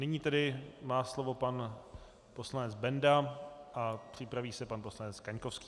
Nyní tedy má slovo pan poslanec Benda a připraví se pan poslanec Kaňkovský.